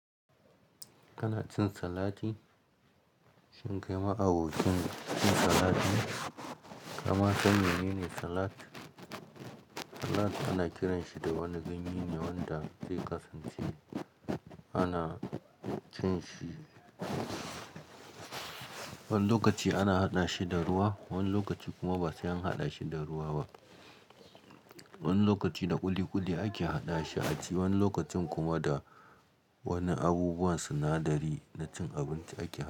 Kana cin salati? Shin kai ma abokin cin salat ne? Kama ka san menene salat? Salat ana kiranshi da wani ganye ne wanda zai kasance ana cin shi. Wani lokaci ana haɗa shi da ruwa, wani lokaci kuma ba sai an haɗa shi da ruwa ba. Wani lokaci da ƙuliƙuli ake haɗa shi a ci, wani lokacin kuma da wani abubuwan sinadari na cin abinci ake haɗa shi.